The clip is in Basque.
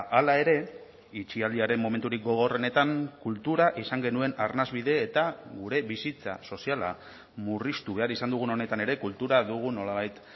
hala ere itxialdiaren momenturik gogorrenetan kultura izan genuen arnasbide eta gure bizitza soziala murriztu behar izan dugun honetan ere kultura dugu nolabait